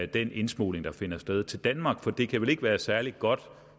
den indsmugling der finder sted til danmark for det kan vel ikke være særlig godt